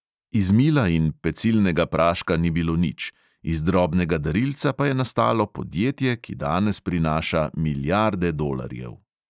Iz mila in pecilnega praška ni bilo nič, iz drobnega darilca pa je nastalo podjetje, ki danes prinaša milijarde dolarjev.